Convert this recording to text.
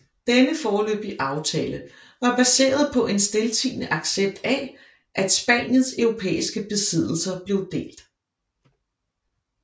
Denne foreløbige aftale var baseret på en stiltiende accept af at Spaniens europæiske besiddelser blev delt